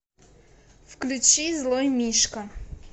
включи злой мишка